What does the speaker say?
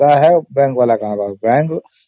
ତାର ଫାଇଦା ପାଇଁ ସିନା ଏସବୁ କରୁଛି